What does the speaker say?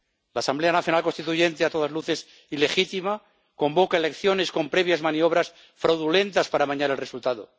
La Asamblea Nacional Constituyente, a todas luces ilegítima, convoca elecciones con previas maniobras fraudulentas para amañar el resultado.